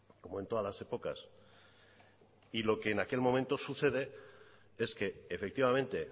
como en todas las épocas y lo que en aquel momento sucede es que efectivamente